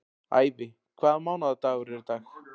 Ævi, hvaða mánaðardagur er í dag?